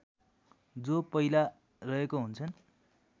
जो पहिला रहेको हुन्छन्